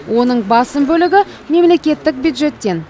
оның басым бөлігі мемлекеттік бюджеттен алынған